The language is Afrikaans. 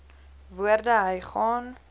woorde hy gaan